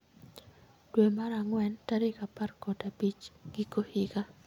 dwe mar ang'wen tarik apar kod abich giko higa